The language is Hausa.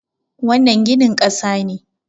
wannan ginin kasa ne